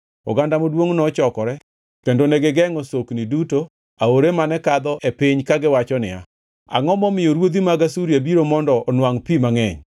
Oganda maduongʼ nochokore kendo ne gigengʼo sokni duto aore mane kadho e piny kagiwacho niya, “Angʼo momiyo ruodhi mag Asuria biro mondo onwangʼ pi mangʼeny.”